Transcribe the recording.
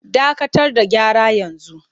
Dakatar da gyara yanzu!